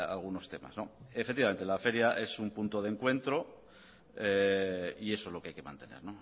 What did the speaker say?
algunos temas efectivamente la feria es un punto de encuentro y eso es lo que hay que mantener